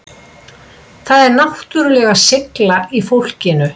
Það er náttúrulega seigla í fólkinu